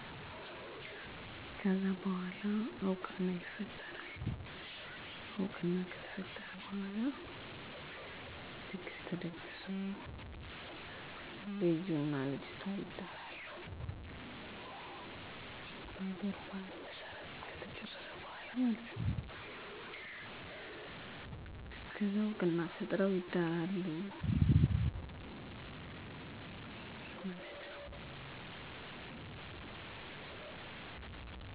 በእኛ ማህበረሰብ አንዲት ሴት ለአቅመ ሄዋን ከደረሰች ትታጫለች የእከሌ ልጅ አለች ተብላ ከዛ ልጃችሁን ለልጃችን ተብሎ ሽምግልና ይላካል። ከዛ ቤተሰቡ ተነጋግረዉ እኔ ለልጄ ይሄን አቀርባለሁ ይላል የሴቷ ቤተሰብም ያላቸዉን ያቀርባሉ። ከዛ ዉል ይፃፃፋሉ ከዛ በኋላ ነዉ እሚተዋወቁት (እሚግባቡት) የሰርጉ ቀን ይወሰናል ቀለበቱ፣ ቀሚሱ፣ ጥላ፣ ቅያሪ ልብስ ገዝቶ ሰርጉ ነገዉን ሊሆን ዛሬዉን የወንዱ ሚዜ ለሴቷ አንደኛ ሚዜ ያስረክባሉ። ሙሽሮች እና ሚዜዎች ሰርጉ ከሆነ በኋላ ምላሽ ወደ ሴቷ ቤት በግ ይዘዉ ይሄዳሉ። ከዛ በ5 ቀኑ ለሙሽሮች ስም ይወጣላቸዋል እነሱም እርስበርሳቸዉ ስም ይወጣጣሉ።